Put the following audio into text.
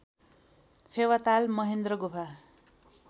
फेवाताल महेन्द्र गुफा